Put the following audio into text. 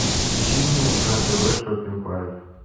включи мне на тв шопинг лайф